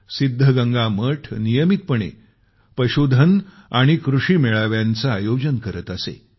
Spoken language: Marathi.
सिद्धगंगा मठ नियमितपणे पशुधन आणि कृषी मेळाव्यांचं आयोजन करत असे